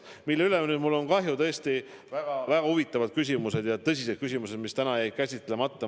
Mille pärast mul nüüd aga kahju on – tõesti väga huvitavad ja tõsised küsimused jäid täna käsitlemata.